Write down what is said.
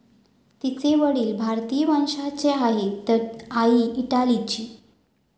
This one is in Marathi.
तिचे वडील भारतीय वंशाचे आहेत तर आई इटालीची.